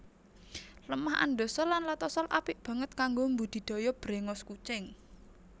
Lemah andosol lan latosol apik banget kanggo mbudidaya bréngos kucing